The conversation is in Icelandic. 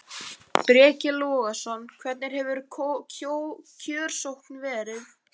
Breki Logason: Hvernig hefur kjörsókn verið?